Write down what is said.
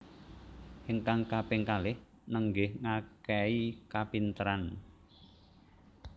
Ingkang kaping kalih nenggih ngakehi kapinteran